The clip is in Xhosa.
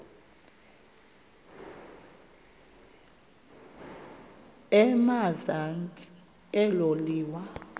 emazantsi elo liwa